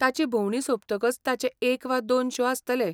ताची भोंवडी सोंपतकच ताचे एक वा दोन शो आसतले.